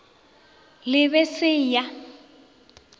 le b e se ya